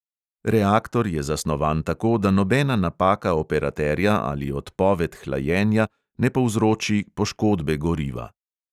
Reaktor je zasnovan tako, da nobena napaka operaterja ali odpoved hlajenja ne povzroči poškodbe goriva.